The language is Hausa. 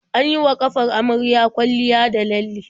An yi wa ƙafar amaryar kwalliya da lalle.